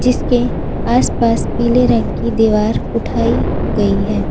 इसके आसपास पीले रंग की दीवार उठाई गई है।